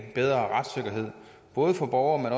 bedre retssikkerhed både for borgere